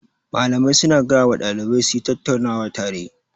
Mallamai su na gaya wa ɗalibai su yi tattaunawa tare